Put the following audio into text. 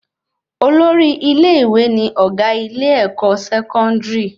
Olórí ilé-ìwé ní ọgá ilé-èkó sẹkọndiri